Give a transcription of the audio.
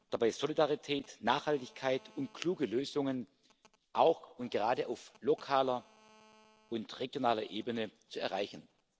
dabei Solidarität, Nachhaltigkeit und kluge Lösungen auch und gerade auf lokaler und regionaler Ebene zu erreichen.